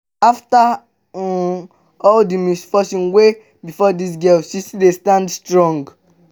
after um all the misfortune wey befall dis girl she still dey stand strong